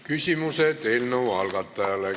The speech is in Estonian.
Küsimused eelnõu algatajale.